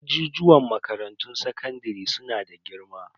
Ajijuwan makarantun sakandare su na da girma.